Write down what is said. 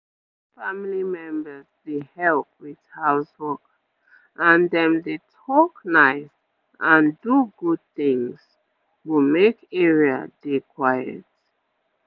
wen family members dey help with house work and dem dey talk nice and do good things go make area dey quiet